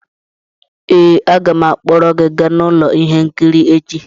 ee, aga m akpọrọ gị gaa ụlọ ihe nkiri echi